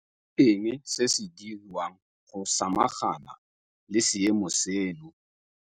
Ke eng se se diriwang go samagana le seemo seno?